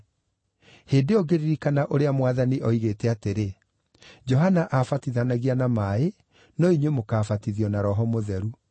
Hĩndĩ ĩyo ngĩririkana ũrĩa Mwathani oigĩte atĩrĩ, ‘Johana aabatithanagia na maaĩ, no inyuĩ mũkaabatithio na Roho Mũtheru.’